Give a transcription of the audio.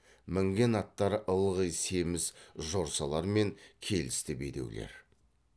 мінген аттары ылғи семіз жорсалар мен келісті бедеулер